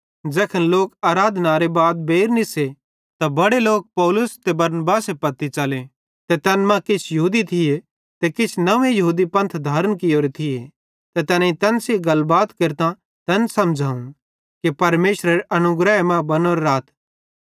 ज़ैखन लोक आराधनारे बाद बेइर निस्से त बड़े लोक पौलुस ते बरनबासे पत्ती च़ले ते तैन मां किछ यहूदी थिये ते किछ नंव्वे यहूदी पंथ धारण कियोरे थिये ते तैनेईं तैन सेइं गलबात केरतां तैन समझ़ाव कि परमेशरे अनुग्रहे मां बनोरे राथ